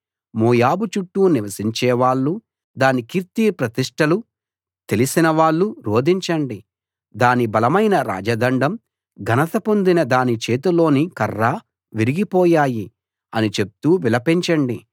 మోయాబు చుట్టూ నివసించేవాళ్ళు దాని కీర్తి ప్రతిష్టలు తెలిసిన వాళ్ళు రోదించండి దాని బలమైన రాజదండం ఘనత పొందిన దాని చేతిలోని కర్ర విరిగిపోయాయి అని చెప్తూ విలపించండి